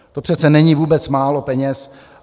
To přece není vůbec málo peněz.